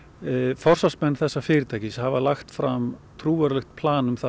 forsvarsmenn þessa fyrirtækis hafa lagt fram trúverðugt plan um það